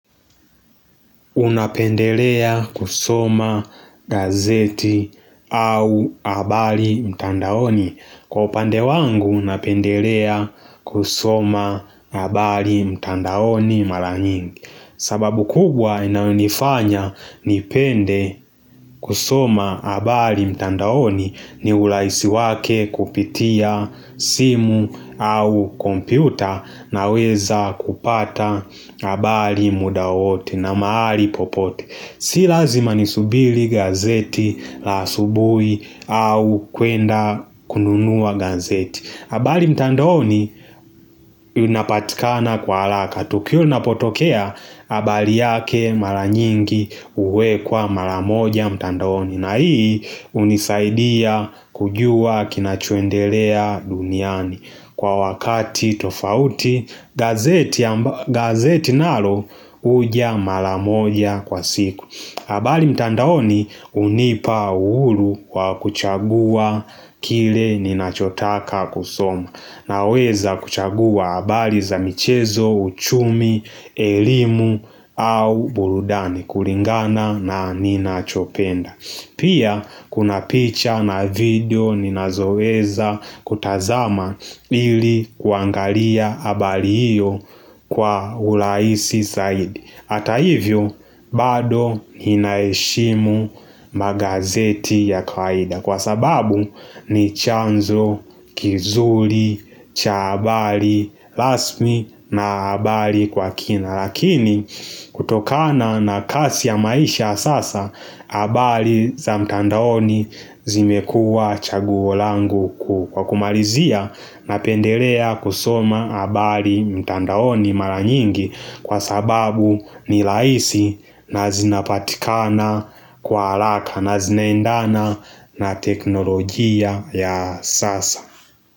Unapendelea kusoma gazeti au habari mtandaoni. Kwa upande wangu napendelea kusoma habari mtandaoni mara nyingi. Sababu kubwa inayo nifanya nipende kusoma habari mtandaoni ni urahisi wake kupitia simu au kompyuta naweza kupata habari muda wowote na mahali popote Si lazima ni subiri gazeti la asubuhi au kuenda kununua gazeti habari mtandaoni unapatikana kwa haraka Tukio inapotokea habari yake maranyingi uwekwa maramoja mtandaoni na hii hunisaidia kujua kinachoendelea duniani Kwa wakati tofauti gazeti nalo huja maramoja kwa siku, habari mtandaoni hunipa uhuru wa kuchagua kile ninachotaka kusoma naweza kuchagua habari za michezo, uchumi, elimu au burudani kulingana na ninachopenda. Pia kuna picha na video ninazoweza kutazama ili kuangalia habari hiyo kwa urahisi zaidi. Hata hivyo bado ninaheshimu magazeti ya kawaida Kwa sababu ni chanzo, kizuri, cha habari, rasmi na habari kwa kina Lakini kutokana na kasi ya maisha sasa habari za mtandaoni zimekua chaguo langu kwa kumalizia Napendelea kusoma habari mtandaoni mara nyingi Kwa sababu ni rahisi na zinapatikana kwa haraka na zinaendana na teknolojia ya sasa.